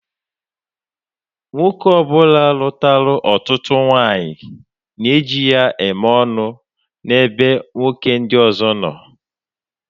Nwoke ọbula lutara ọtụtụ nwaanyị na eji ya eme ọnụ na ebe nwoke ndi ọzọ nọ.